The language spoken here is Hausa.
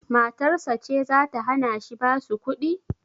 Matarsa ce zata hanashi basu kuɗi?